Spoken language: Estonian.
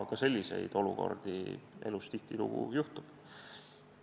Ka selliseid olukordi elus tihtilugu juhtub.